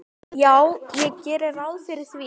Já, ég geri ráð fyrir því.